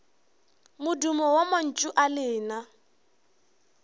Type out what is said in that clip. modumo wa mantšu a lena